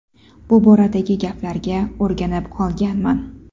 Bu boradagi gaplarga o‘rganib qolganman.